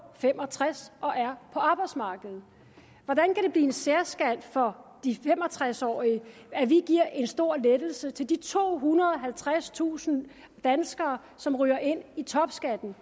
fem og tres og er på arbejdsmarkedet hvordan kan det blive en særskat for de fem og tres årige at vi giver en stor lettelse til de tohundrede og halvtredstusind danskere som ryger ind i topskatten